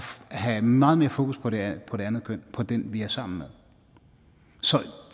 have meget mere fokus på det andet køn på den vi er sammen med så